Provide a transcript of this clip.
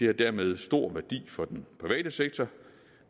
har dermed stor værdi for den private sektor